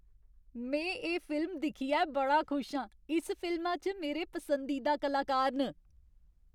में एह् फिल्म दिक्खियै बड़ा खुश आं। इस फिल्मा च मेरे पसंदीदा कलाकार न।